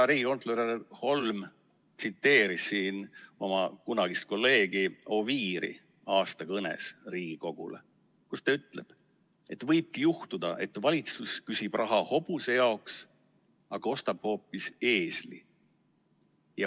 Riigikontrolör Holm tsiteeris siin oma kunagise kolleegi Oviiri aastakõnet Riigikogule, milles ta ütleb, et võibki juhtuda nii, et valitsus küsib raha hobuse jaoks, aga ostab hoopis eesli.